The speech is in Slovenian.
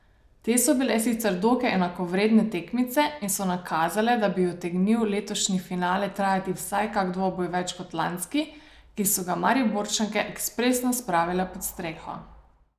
Te so bile sicer dokaj enakovredne tekmice in so nakazale, da bi utegnil letošnji finale trajati vsaj kak dvoboj več kot lanski, ki so ga Mariborčanke ekspresno spravile pod streho.